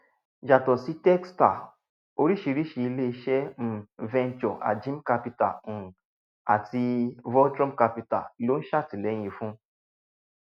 yàtọ sí techstars oríṣiríṣi ilé iṣẹ um ventures ajim capital um àti voltron capital ló ń ṣètìléyìn fún